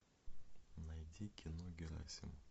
найди кино герасим